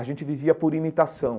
A gente vivia por imitação.